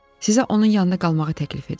Sizə onun yanında qalmağı təklif edir.